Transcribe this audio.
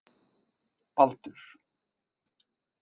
Baldur